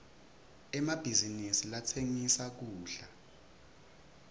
emabhizinisi latsengisa kudla